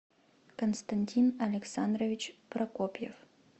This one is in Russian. константин александрович прокопьев